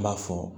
N b'a fɔ